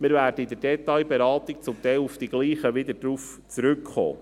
Wir werden in der Detailberatung zum Teil wieder auf die gleichen zurückkommen.